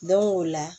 Don o la